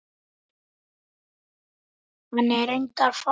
Hann er reyndar farinn til